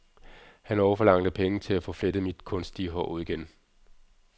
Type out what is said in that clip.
Han og forlangte penge til at få flettet mit kunstige hår ud igen.